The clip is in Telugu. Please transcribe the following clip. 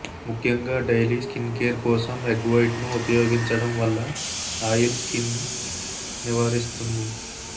ముఖ్యంగా డైలీ స్కిన్ కేర్ కోసం ఎగ్ వైట్ ను ఉపయోగించడం వల్ల ఆయిల్ స్కిన్ నివారిస్తుంది